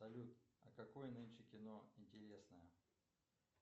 салют а какое нынче кино интересное